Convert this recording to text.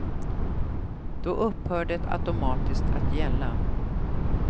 Då upphör det automatiskt att gälla.